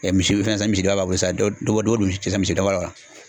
Misi bɛ fɛn san misidaba san dɔgɔ don misi misi daba la